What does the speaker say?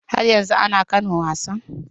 Har yanzu ana kan wasan?